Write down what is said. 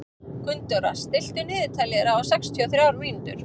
Gunndóra, stilltu niðurteljara á sextíu og þrjár mínútur.